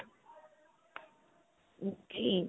ok.